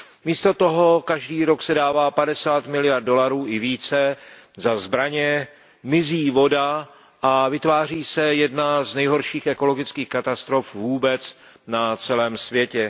Místo toho se každý rok dává padesát miliard dolarů i více za zbraně, mizí voda a vytváří se jedna z nejhorších ekologických katastrof vůbec na celém světě.